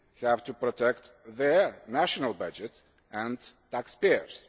have to protect their national budget and taxpayers.